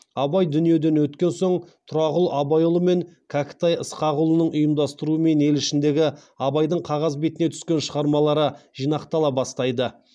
абай дүниеден өткен соң тұрағұл абайұлы мен кәкітай ысқақұлының ұйымдастыруымен ел ішіндегі абайдың қағаз бетіне түскен шығармалары жинақтала бастайды